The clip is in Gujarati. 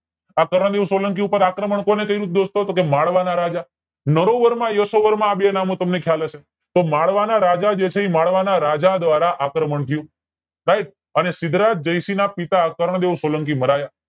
આ કરણદેવ સોલંકી ઉપર આક્રમણ કોને કર્યું દોસ્તો ટોકે માળવાના રાજા નળોવર માં અને આ બે નામ તમને ખ્યાલ હશે તો મળવાના રાજા દ્વારા આક્રમણ થયું સાઇબ અને સિદ્ધરાજ જયસિંહ ના પિતા કરણદેવ સોલંકી મરાયા